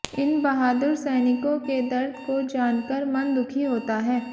इन बहादुर सैनिकों के दर्द को जानकर मन दुखी होता है